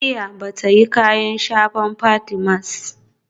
Rukayyah bata yin kayan shafa Fatimas